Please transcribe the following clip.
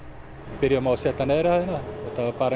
byrjuðum á að setja neðri hæðina bara